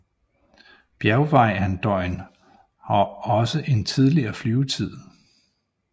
Bjergvejrandøjen har også en tidligere flyvetid